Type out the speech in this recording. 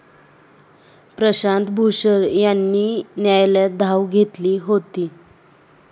प्रशांत भूषण यांनी न्यायालयात धाव घेतली होती.